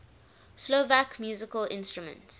slovak musical instruments